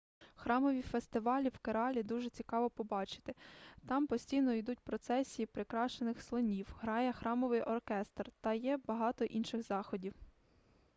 храмові фестивалі в кералі дуже цікаво побачити там постійно ідуть процесії прикрашених слонів грає храмовий оркестр та є багато інших заходів